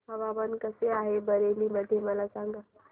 हवामान कसे आहे बरेली मध्ये मला सांगा